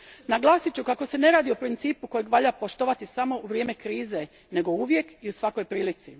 Naglasit ću kako se ne radi o principu kojeg valja poštovati samo u vrijeme krize, nego uvijek i u svakoj prilici.